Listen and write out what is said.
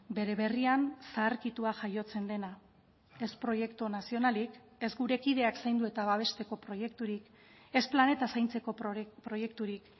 bere berrian zaharkitua jaiotzen dena ez proiektu nazionalik ez gure kideak zaindu eta babesteko proiekturik ez planetaz zaintzeko proiekturik